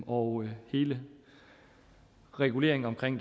og hele reguleringen omkring